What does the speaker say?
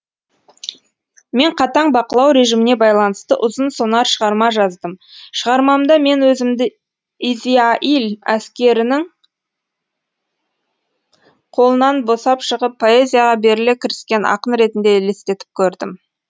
мен қатаң бақылау режиміне байланысты ұзын сонар шығарма жаздым шығармамда мен өзімді изиаиль әскерінің қолынан босап шығып поэзияға беріле кіріскен ақын ретінде елестетіп көрдім